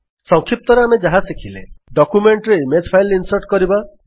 ସଂକ୍ଷିପ୍ତରେ ଆମେ ଯାହା ଶିଖିଲେ ଡକ୍ୟୂମେଣ୍ଟରେ ଇମେଜ୍ ଫାଇଲ୍ ଇନ୍ସର୍ଟ କରିବା